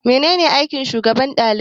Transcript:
Mene ne aikin shugaban ɗalibai?